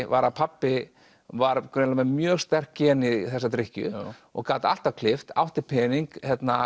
var að pabbi var greinilega með mjög sterk gen í þessa drykkju og gat alltaf klippt átti pening